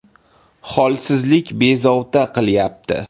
Holsizlik bezovta qilyapti.